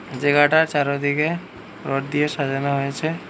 জায়গাটা চারোদিকে রড দিয়ে সাজানো হয়েছে।